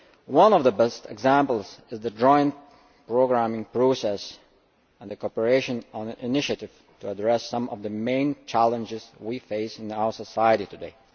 One of the best examples is the joint programming process and the cooperation on initiatives to address some of the main challenges we face in our society today.